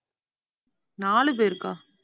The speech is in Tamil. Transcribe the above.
நாலு பேருக்கா?